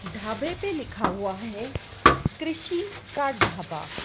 ढाबे पे लिखा हुआ है कृषि का ढाबा--